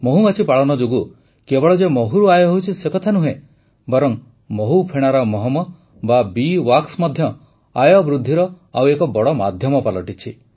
ମହୁମାଛି ପାଳନ ଯୋଗୁଁ କେବଳ ଯେ ମହୁରୁ ଆୟ ହେଉଛି ସେକଥା ନୁହେଁ ବରଂ ମହୁଫେଣାର ମହମ ବା ବୀ ୱାକ୍ସ ମଧ୍ୟ ଆୟବୃଦ୍ଧିର ଆଉ ଏକ ବଡ଼ ମାଧ୍ୟମ ପାଲଟିଛି